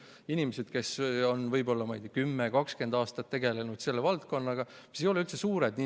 Need inimesed on võib-olla 10–20 aastat tegelenud selle valdkonnaga, mis ei ole üldse suur.